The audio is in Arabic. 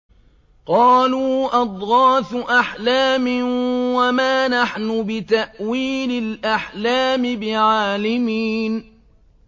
قَالُوا أَضْغَاثُ أَحْلَامٍ ۖ وَمَا نَحْنُ بِتَأْوِيلِ الْأَحْلَامِ بِعَالِمِينَ